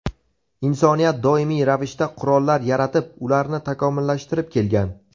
Insoniyat doimiy ravishda qurollar yaratib, ularni takomillashtirib kelgan.